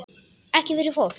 Ekki fyrir fólk?